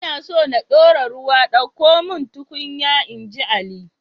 Ina so na dora ruwa ɗauko mun tukunya, inji ali